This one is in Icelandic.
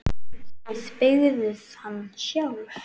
Þið byggðuð hann sjálf.